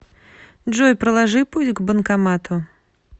джой проложи путь к банкомату